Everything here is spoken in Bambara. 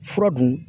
Fura dun